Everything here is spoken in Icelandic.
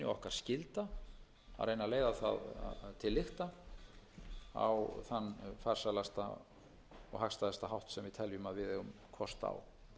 og okkar skylda að reyna að leiða það til lykta á þann farsælasta og hagstæðasta hátt sem við teljum að við eigum kost á